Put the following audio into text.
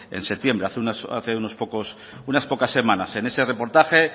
en septiembre hace unas pocas semanas en ese reportaje